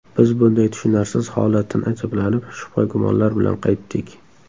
Biz bunday tushunarsiz holatdan ajablanib, shubha-gumonlar bilan qaytdik...